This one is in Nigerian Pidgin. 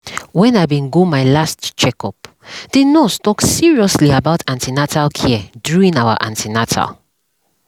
when i bin go my last checkup the nurse talk seriously about an ten atal care during our an ten atal